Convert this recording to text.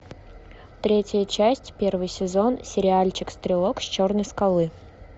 третья часть первый сезон сериальчик стрелок с черной скалы